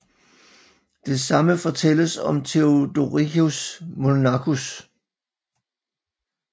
Det samme fortælles af Theodoricus Monachus